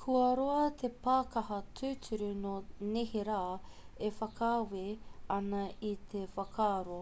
kua roa te pākaha tūturu nō neherā e whakaawe ana i te whakaaro